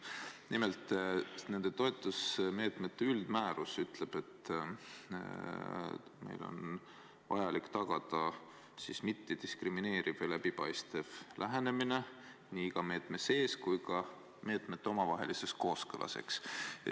Nimelt, nende toetusmeetmete üldmäärus ütleb, et on vajalik tagada mittediskrimineeriv ja läbipaistev lähenemine nii iga meetme sees kui ka meetmete omavahelises kooskõlas.